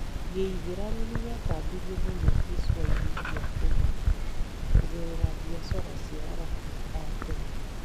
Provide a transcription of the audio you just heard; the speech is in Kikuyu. Gĩithĩramu nĩ gĩatambirio mũno gĩcũa-inĩ gĩa Kenya kũgerera biacara cia Arabu a tene.